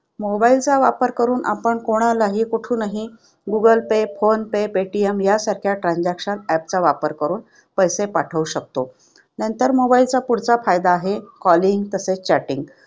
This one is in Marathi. Mobile चा वापर करून आपण कोणालाही कुठूनही Google pay, phone pay, PayTM यासारख्या transactions वापर करून पैसे पाठवू शकतो. नंतर Mobile चा पुढचा फायदा आहे calling तसेच chatting.